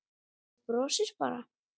Þú brosir bara!